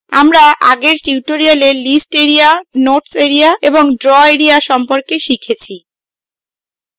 আমরা আগের tutorial list area notes area এবং draw এরিয়া সম্পর্কে শিখেছি